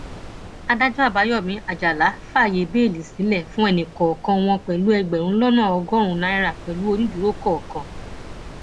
adájọ àbáyọmí àjàlá fàáyé bẹẹlí sílẹ fún ẹnìkọọkan wọn pẹlú ẹgbẹrún lọnà ọgọrùnún náírà pẹlú onídùúró kọọkan